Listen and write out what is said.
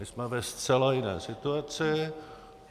My jsme ve zcela jiné situaci.